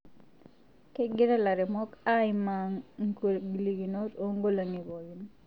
kegira laremok aimaa nkagolokinot oonkolongi pookin